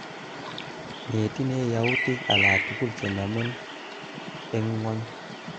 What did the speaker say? Miten yautik alatugul chenamen eng ng'ony